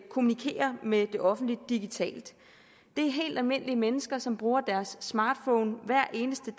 kommunikere med det offentlige digitalt det er helt almindelige mennesker som bruger deres smartphone hver eneste